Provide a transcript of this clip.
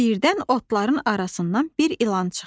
Birdən otların arasından bir ilan çıxdı.